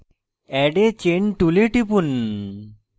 add a chain tool টিপুন